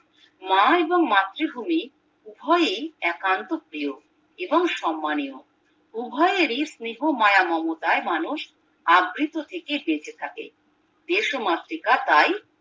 মা এবং মাতৃভূমি উভয়ই একান্ত প্রিয় এবং সম্মানীয় উভয়েরই স্নেহ মায়া মমতায় মানুষ আবৃত থেকে বেঁচে থাকে দেশমাতৃকা তাই